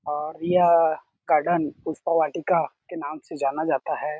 वह चांदी के कलर की दिख रही है आप इसको दरवाजे को--